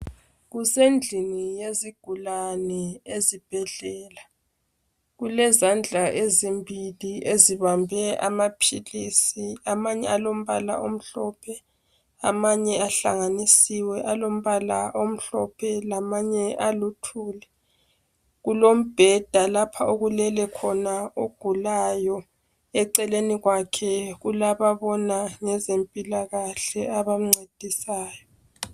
Kusendlini yezigulane ezibhedlela kulezandla ezimbili ezibambe amaphilisi amanye alombala omhlophe amanye ahlanganisiwe alombala omhlophe lamanye aluthuli ,kulombheda lapho okulele khona ogulayo eceleni kwakhe kulababona ngezempilakahle abamncedisayo